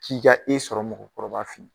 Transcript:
K'i ka e sɔrɔ mɔgɔkɔrɔbaw fɛ yen.